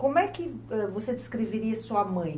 Como é que ãh você descreveria sua mãe?